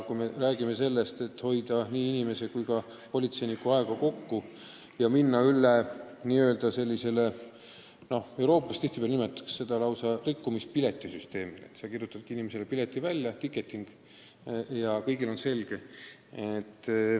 Kui me soovime hoida kokku nii rikkuja kui ka politseiniku aega ja minna üle n-ö rikkumispiletisüsteemile – mujal Euroopas tihtipeale nimetatakse seda just nii –, siis kirjutataksegi patustajale pilet välja, ticket, ja kõigil on asi selge.